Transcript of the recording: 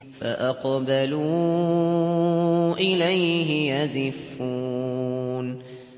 فَأَقْبَلُوا إِلَيْهِ يَزِفُّونَ